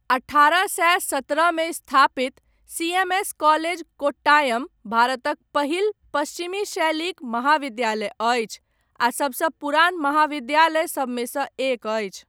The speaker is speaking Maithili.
अठारह सए सतरहमे स्थापित, सी.एम.एस. कॉलेज कोट्टायम, भारतक पहिल, पश्चिमी शैलीक महाविद्यालय अछि, आ सबसँ पुरान महाविद्यालय सबमे सँ एक अछि।